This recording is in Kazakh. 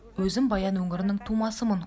өзім баян өңірінің тумасымын